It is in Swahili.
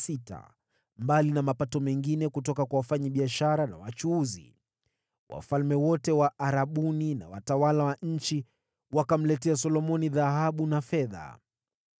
mbali na mapato yaliyoletwa na wafanyabiashara na wachuuzi. Wafalme wote wa Arabuni na watawala wa nchi wakamletea Solomoni dhahabu na fedha.